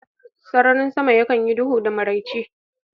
Sararin sama yakan yi duhu da maraice